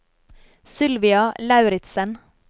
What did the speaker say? Sylvia Lauritsen